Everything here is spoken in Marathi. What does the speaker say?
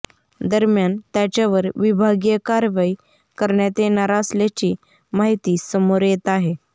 दरम्यान त्याच्यावर विभागीय कारवाई करण्यात येणार असल्याची माहिती समोर येत आहे